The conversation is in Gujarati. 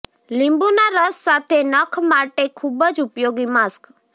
લીંબુના રસ સાથે નખ માટે ખૂબ જ ઉપયોગી માસ્ક